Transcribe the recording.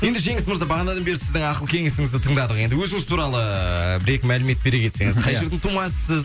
енді жеңіс мырза бағанадан бері сіздің ақыл кеңесіңізді тыңдадық енді өзіңіз туралы ыыы бір екі мәлімет бере кетсеңіз қай жердің тумасысыз